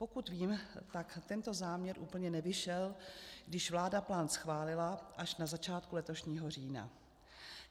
Pokud vím, tak tento záměr úplně nevyšel, když vláda plán schválila až na začátku letošního října.